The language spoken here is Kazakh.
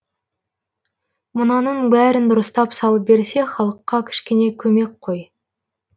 мынаның бәрін дұрыстап салып берсе халыққа кішкене көмек қой